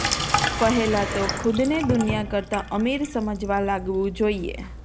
પહેલા તો ખુદને દુનિયા કરતા અમીર સમજવા લાગવું જોઈએ